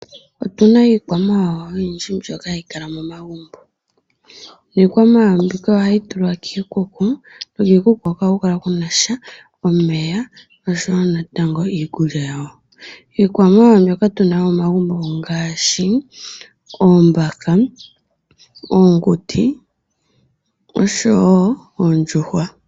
Otuna iikwamawawa oyindji mbyoka ha yi kala momagumbo, nikwamawawa mbika oha yi tulwa kiikuku, no kiikuku, hika oha ku kala Kuna sha omeya, osho wo natango iikulya yawo. Iikwamawawa mbyoka tuna momagumbo ongaashi, oombaka, oonguti osho wo oondjuhwa.